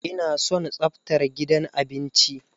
Ina son tsaftar gidan abinci.